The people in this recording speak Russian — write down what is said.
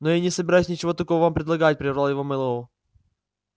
но я не собираюсь ничего такого вам предлагать прервал его мэллоу